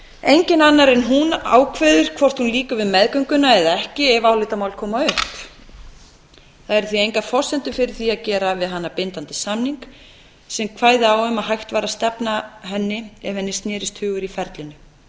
enginn annar en hún ákveður hvort hún lýkur við meðgönguna eða ekki ef álitamál koma upp það eru því engar forsendur fyrir að gera við hana bindandi samning sem kvæði á um að hægt væri að stefna henni ef henni snerist hugur í ferlinu